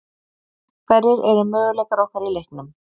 Hverjir eru möguleikar okkar í leiknum?